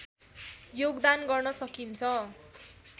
योगदान गर्न सकिन्छ